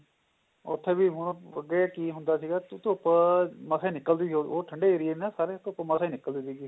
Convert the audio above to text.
ਉੱਥੇ ਵੀ ਹੁਣ ਅੱਗੇ ਕਿ ਹੁੰਦਾ ਸੀਗਾ ਕਿ ਧੁੱਪ ਮਸਾ ਹੀ ਨਿਕਲਦੀ ਸੀ ਉਹ ਠੰਡੇ ਏਰੀਆ ਨੇ ਨਾ ਸਾਰੇ ਧੁੱਪ ਮਸਾ ਹੀ ਨਿਕਲਦੀ ਸੀ